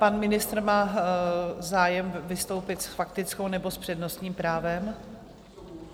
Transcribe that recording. Pan ministr má zájem vystoupit s faktickou, nebo s přednostním právem?